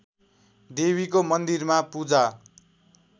देवीको मन्दिरमा पूजा